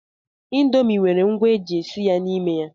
Indomi nwere ngwa eji esi ya n'ime ya.